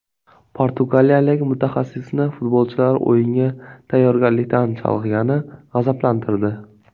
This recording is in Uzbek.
Portugaliyalik mutaxassisni futbolchilar o‘yinga tayyorgarlikdan chalg‘igani g‘azablantirdi.